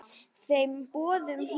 Þeim boðum hlýtt.